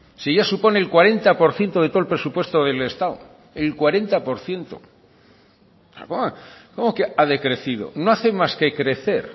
si ya supone el cuarenta por ciento de todo el presupuesto del estado el cuarenta por ciento cómo que ha decrecido no hace más que crecer